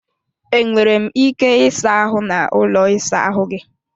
E nwere m ike ịsa ahụ n'ụlọ ịsa ahụ gị?